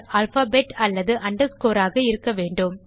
alphabet அல்லது underscore ஆக இருக்க வேண்டும்